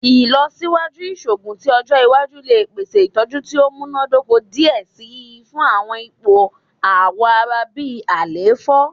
Ilọsiwaju iṣoogun ti ọjọ iwaju le pese itọju ti o munadoko diẹ sii fun awọn ipo awọ ara bi àléfọ